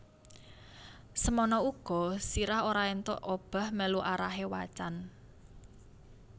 Semono uga sirah ora entuk obah melu arahe wacan